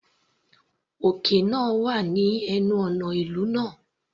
Òkè náà wà ní ẹnu ọ̀nà ìlú náà.